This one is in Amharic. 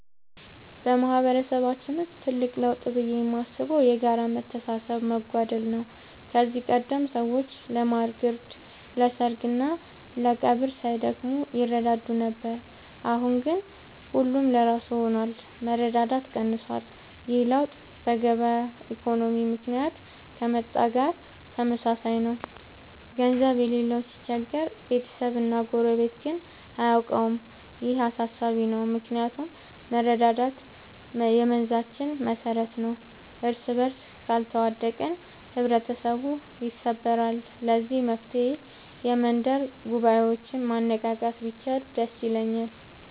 በማህበረሰባችን ውስጥ ትልቅ ለውጥ ብዬ የማስበው የጋራ መተሳሰብ መጓደል ነው። ከዚህ ቀደም ሰዎች ለማር ግርድ፣ ለሰርግና ለቀብር ሳይደክሙ ይረዳዱ ነበር። አሁን ግን ሁሉም ለራሱ ሆኗል፤ መረዳዳት ቀንሷል። ይህ ለውጥ በገበያ ኢኮኖሚ ምክንያት ከመጣ ጋር ተመሳሳይ ነው፤ ገንዘብ የሌለው ሲቸገር ቤተሰብና ጎረቤት ግን አያውቀውም። ይህ አሳሳቢ ነው ምክንያቱም መረዳዳት የመንዛችን መሰረት ነበር። እርስበርስ ካልተዋደቅን ህብረተሰቡ ይሰበራል። ለዚህ መፍትሔ የመንደር ጉባኤዎችን ማነቃቃት ቢቻል ደስ ይለኛል።